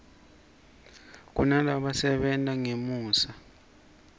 kunalaba sebentangema khemosra